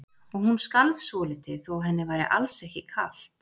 Og hún skalf svolítið þó að henni væri alls ekki kalt.